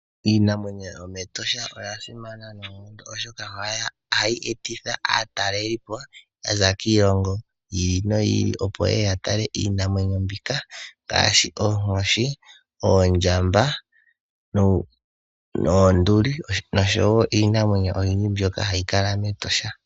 Iinimwenyo yo meEtosha oya simana noonkondo oshoka ohayi etitha aataleli po yaza kondje yiilongo yi ili noyi ili, opo ye ye ya talele po iinamwenyo mbika ngaashi, oonkoshi, oondjamba noonduli noshowo iinamwenyo oyindji mbyoka hayi kala meEtosha.